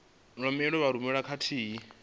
bammbiri e vha rumelwa khathihi